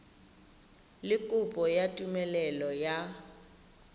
le kopo ya tumelelo ya